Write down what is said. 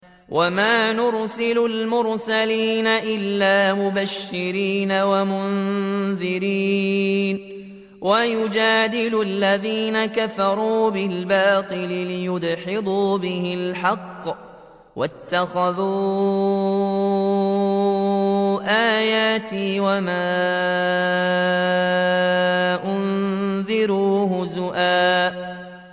وَمَا نُرْسِلُ الْمُرْسَلِينَ إِلَّا مُبَشِّرِينَ وَمُنذِرِينَ ۚ وَيُجَادِلُ الَّذِينَ كَفَرُوا بِالْبَاطِلِ لِيُدْحِضُوا بِهِ الْحَقَّ ۖ وَاتَّخَذُوا آيَاتِي وَمَا أُنذِرُوا هُزُوًا